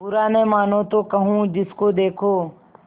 बुरा न मानों तो कहूँ जिसको देखो